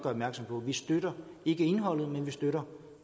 opmærksom på vi støtter ikke indholdet men vi støtter